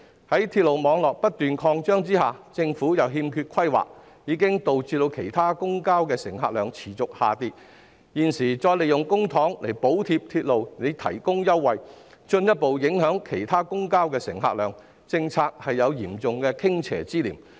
鐵路網絡不斷擴張，但政府卻欠缺規劃，導致其他公共交通的乘客量持續下跌，現時再利用公帑補貼鐵路提供優惠，進一步影響其他公共交通的乘客量，政策有嚴重傾斜之嫌。